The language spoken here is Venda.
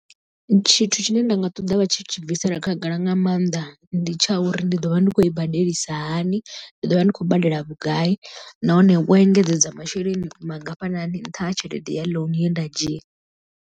Tshithu tshine nda nga ṱoḓa vha tshi tshi bvisela khagala nga maanḓa ndi tsha uri ndi ḓo vha ndi khou i badelisa hani, ndi ḓo vha ndi khou badela vhugai nahone wo engedzedza masheleni mangafhani nṱha ha tshelede ya ḽounu ye nda dzhia.